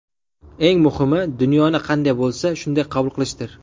Eng muhimi, dunyoni qanday bo‘lsa, shunday qabul qilishdir”.